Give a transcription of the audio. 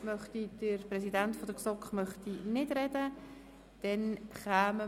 Der Präsident der GSoK möchte nicht dazu sprechen.